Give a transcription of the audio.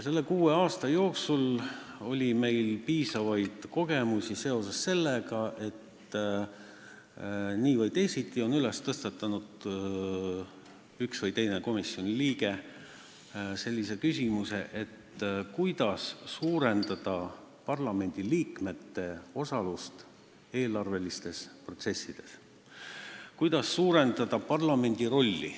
Selle kuue aasta jooksul oli meil piisavaid kogemusi sellega, et nii või teisiti tõstatas üks või teine komisjoni liige küsimuse, kuidas suurendada parlamendiliikmete osalust eelarvelistes protsessides, kuidas suurendada parlamendi rolli.